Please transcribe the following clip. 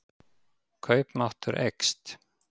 Kaupmáttur eykst